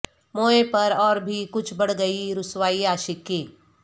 موئے پر اور بھی کچھ بڑھ گئی رسوائی عاشق کی